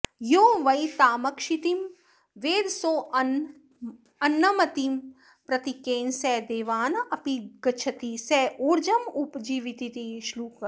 यो वै तामक्षितिं वेद सोऽन्नमत्ति प्रतीकेन स देवानपिगच्छति स ऊर्जमुपजीवतीति श्लोकाः